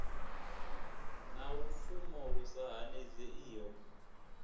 na lupfumo lu sa hanedzeiho